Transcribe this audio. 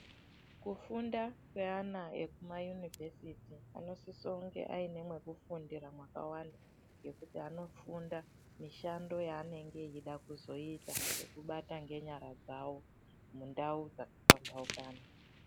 Kufunda kweana ekuma yunivhesiti anosise kunge aine mwekufundira mwakawanda ngekuti anofunda mishando yeanenge eida kuzoita nekubata ngenyara dzavo mundau dzakaphamhaukana .